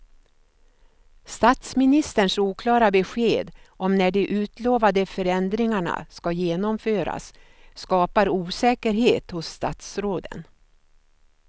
Statsministerns oklara besked om när de utlovade förändringarna ska genomföras skapar osäkerhet hos statsråden.